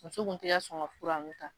Muso ko k'i ka fura ninnu ta.